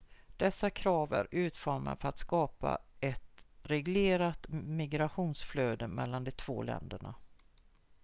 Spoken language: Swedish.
dessa krav är utformade för att skapa ett reglerat migrationsflöde mellan de två länderna